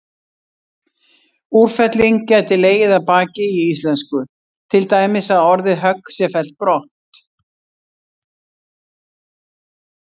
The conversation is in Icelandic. Úrfelling gæti legið að baki í íslensku, til dæmis að orðið högg sé fellt brott.